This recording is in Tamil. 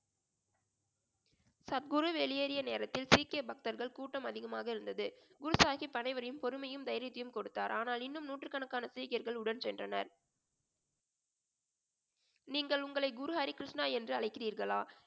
சத்குரு வெளியேறிய நேரத்தில் சீக்கிய பக்தர்கள் கூட்டம் அதிகமாக இருந்தது குரு சாஹிப் அனைவரையும் பொறுமையும் தைரியத்தையும் கொடுத்தார் ஆனால் இன்னும் நூற்றுக்கணக்கான சீக்கியர்கள் உடன் சென்றனர் நீங்கள் உங்களை குரு ஹரிகிருஷ்ணா என்று அழைக்கிறீர்களா